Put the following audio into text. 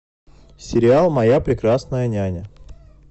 сериал моя прекрасная няня